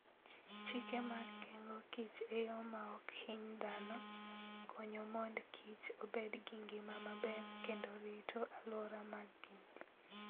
Chike mag geng'o kich e yo ma ok hiny dhano, konyo mondo kich obed gi ngima maber kendo rito alwora ma gintie.